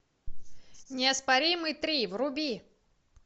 неоспоримый три вруби